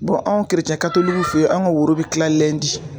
an fɛ yen an ka woro bɛ kila